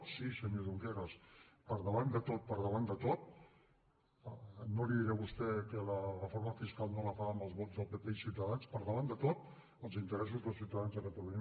sí senyor junqueras per davant de tot per davant de tot no li diré a vostè que la reforma fiscal no la fa amb els vots del pp i ciutadans per davant de tot els interessos dels ciutadans de catalunya